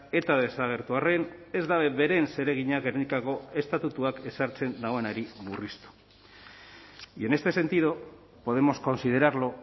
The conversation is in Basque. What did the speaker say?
eta desagertu arren ez da beren zeregina gernikako estatutuak ezartzen duenari murriztu y en este sentido podemos considerarlo